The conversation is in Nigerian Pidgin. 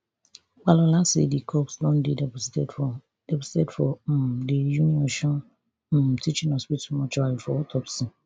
opalola say di corpse don dey deposited for deposited for um di uniosun um teaching hospital mortuary for autopsy